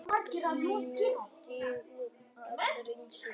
GRÍMUR: Digur og ráðríkur